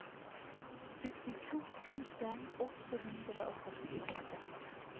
syttito tusen åtte hundre og førtiåtte